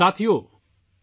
ساتھیو ،